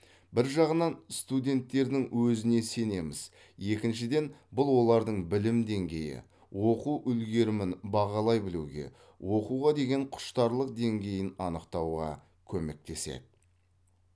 бір жағынан студенттердің өзіне сенеміз екіншіден бұл олардың білім деңгейі оқу үлгерімін бағалай білуге оқуға деген құштарлық деңгейін анықтауға көмектеседі